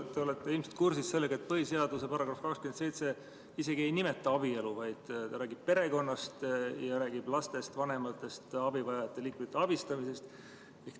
Te olete ilmselt kursis, et põhiseaduse § 27 isegi ei nimeta abielu, vaid ta räägib perekonnast ja räägib lastest, vanematest, abivajavate liikmete abistamisest.